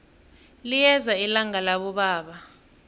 liyeza ilanga labobaba